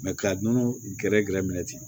ka nɔnɔ gɛrɛ gɛrɛ minɛ ten